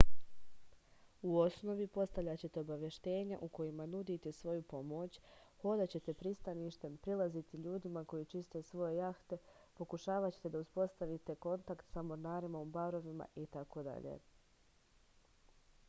u osnovi postavljaćete obaveštenja u kojima nudite svoju pomoć hodaćete pristaništem prilaziti ljudima koji čiste svoje jahte pokušavaćete da uspostavite kontakt sa mornarima u barovima itd